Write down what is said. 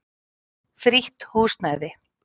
Frítt húsnæði.